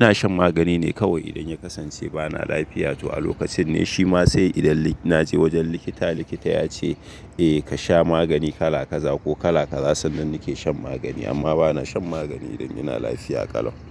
Ina shan magani ne kawai idan ya kasance bana lafiya. To a lokacin ne, shima sai idan na je wajen likita, likita ya ce eh ka sha magani kala kaza ko kala kaza, sannan nake shan magani. Amma bana shan magani idan ina lafiya ƙalau.